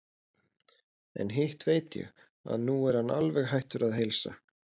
En hitt veit ég, að nú er hann alveg hættur að heilsa.